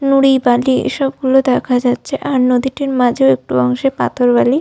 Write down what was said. নুড়ি বালি এসব গুলো দেখা যাচ্ছে। আর নদীটির মাঝেও একটি অংশে পাথর বালি --